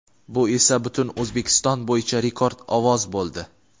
Bu esa butun O‘zbekiston bo‘yicha rekord ovoz bo‘ldi.